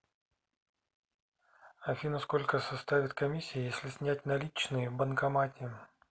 афина сколько составит комиссия если снять наличные в банкомате